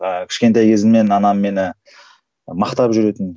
ыыы кішкентай кезімнен анам мені мақтап жүретін